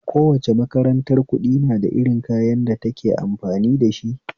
Kowace makarantar kuɗi nada irin kayan da take amfani dashi